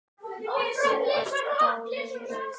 Þú er dáldið rauð.